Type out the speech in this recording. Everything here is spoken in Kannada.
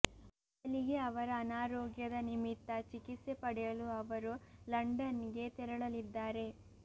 ಬದಲಿಗೆ ಅವರ ಅನಾರೋಗ್ಯದ ನಿಮಿತ್ತ ಚಿಕಿತ್ಸೆ ಪಡೆಯಲು ಅವರು ಲಂಡನ್ ಗೆ ತೆರಳಲಿದ್ದಾರೆ